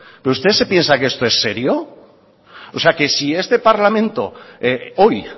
pero usted se piensa que esto es serio o sea que si a este parlamento hoy